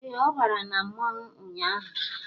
Ee, ọ bàrà na mmọnwụ ụnyaahụ